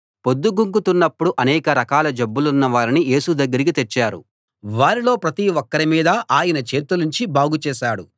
పొద్దుగుంకుతున్నపుడు అనేక రకాల జబ్బులున్న వారిని యేసు దగ్గరికి తెచ్చారు వారిలో ప్రతి ఒక్కరి మీదా ఆయన చేతులుంచి బాగు చేశాడు